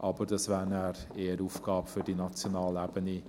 Aber das wäre dann eher eine Aufgabe für die nationale Ebene.